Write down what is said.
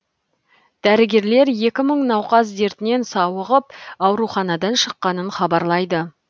дәрігерлер екі мың науқас дертінен сауығып ауруханадан шыққанын хабарлайды